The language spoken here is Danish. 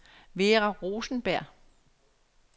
Vera Rosenberg